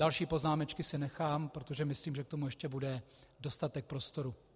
Další poznámečky si nechám, protože myslím, že k tomu ještě bude dostatek prostoru.